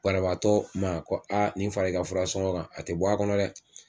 Banabaatɔ ma ko aa nin fara i ka fura sɔngɔ kan a te bɔ a kɔnɔ dɛ